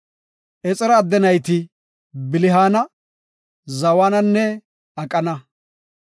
Exera adde nayti Bilihaana, Zawananne Aqana.